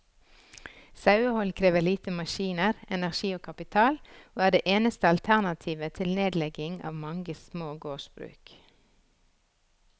Sauehold krever lite maskiner, energi og kapital, og er det eneste alternativet til nedlegging av mange små gårdsbruk.